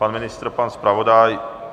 Pan ministr, pan zpravodaj?